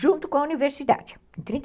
junto com a universidade, em trinta e